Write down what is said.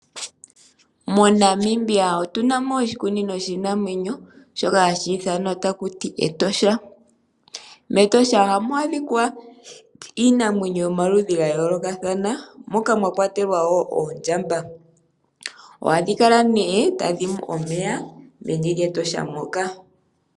MoNamibia otuna mo oshikunino shiinamwenyo shoka haku ithana taku ti Etosha. MEtosha ohamu adhika iinamwenyo yomaludhi ga yoolokathana moka mwa kwatelwa wo oondjamba. Ohadhi kala nee tadhi nu omeya meni lyEtosha moka.